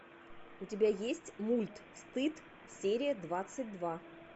у тебя есть мульт стыд серия двадцать два